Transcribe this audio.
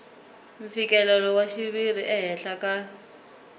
mfikelelo wa xiviri ehenhla ka